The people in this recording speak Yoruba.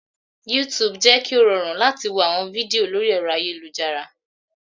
Yútùùbù jẹ́ kí ó rọrùn láti wo àwọn fídíò lórí ẹ̀rọ ayélujára